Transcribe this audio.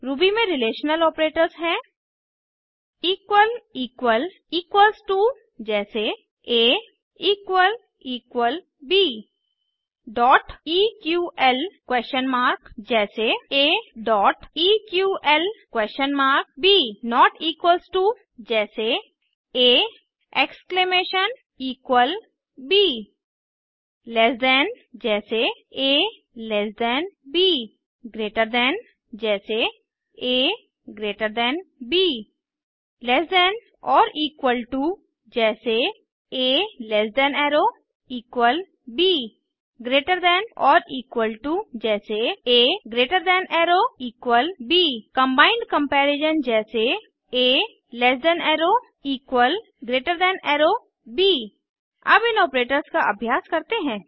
Ruby में relation operators हैं equals to जैसे ab dot EQL question mark जैसे aeql160b 160 नोट इक्वल्स टो जैसे a exclamation equal b less than से कम जैसे alt ब ग्रेटर दैन से अधिक जैसे अग्त b less than or equal to जैसे a less than arrow equal b greater than or equal to जैसे a greater than arrow equal b combined comparison जैसे a less than arrow equal greater than arrow b अब इन operators का अभ्यास करते हैं